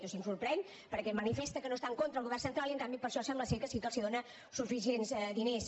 o sigui em sorprèn perquè em manifesta que no està en contra del govern central i en canvi per això sembla que sí que els dóna suficients diners